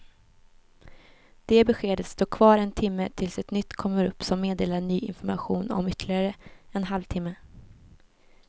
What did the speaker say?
Det beskedet står kvar en timme tills ett nytt kommer upp som meddelar ny information om ytterligare en halv timme.